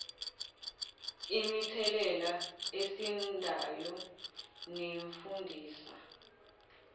imithelela esindayo nefundisa